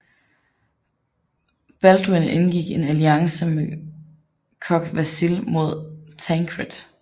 Balduin indgik en alliance med Kogh Vasil mod Tancred